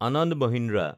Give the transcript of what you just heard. Ananda Mahindra